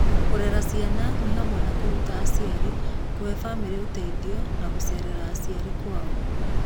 Kũrera ciana nĩ hamwe na kũruta aciari, kũhe famĩlĩ ũteithio, na gũceerera aciari kwao.